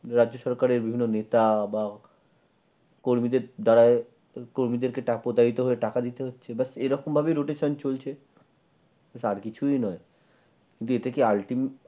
রাজ্য সরকারের বিভিন্ন নেতা বা কর্মীদের দ্বারা কর্মীদেরকে টাকা দিতে হচ্ছে এরকম ভাবেই rotation চলছে। আর কিছুই নয় কিন্তু এতে কি ultimate